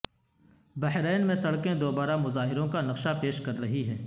بحرین میں سڑکیں دوبارہ مظاہروں کا نقشہ پیش کر رہی ہیں